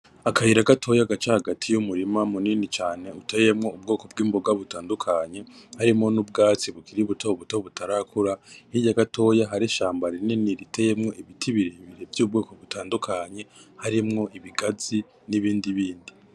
Akayira gatoya gaca hagati yumurima munini cane uteyemwo ubwoko bwimboga butandukanye harimwo nubwatsi bukiri buto buto butarakura hirya gatoya hari ishambi rinini riteyemwo ibiti vyubwoko butandukanye harimwo ibigazi nibindi bindi.